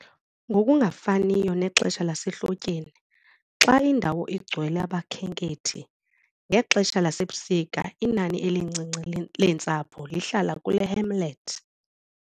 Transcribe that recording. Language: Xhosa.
Ngokungafaniyo nexesha lasehlotyeni, xa indawo igcwele abakhenkethi, ngexesha lasebusika inani elincinci leentsapho lihlala kule hamlet.